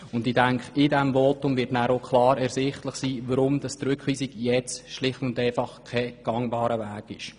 Aus diesem Votum wird auch klar hervorgehen, weshalb eine Rückweisung schlicht kein gangbarer Weg ist.